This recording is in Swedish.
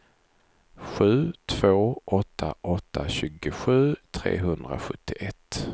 sju två åtta åtta tjugosju trehundrasjuttioett